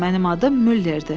Mənim adım Müllerdir.